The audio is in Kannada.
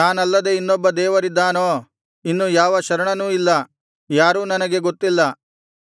ನಾನಲ್ಲದೆ ಇನ್ನೊಬ್ಬ ದೇವರಿದ್ದಾನೋ ಇನ್ನು ಯಾವ ಶರಣನೂ ಇಲ್ಲ ಯಾರೂ ನನಗೆ ಗೊತ್ತಿಲ್ಲ